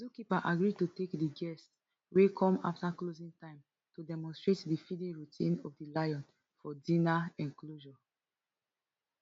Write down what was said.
di zookeeper agree to take di guests wey come afta closing time to demonstrate di feeding routine of di lion for di inner enclosure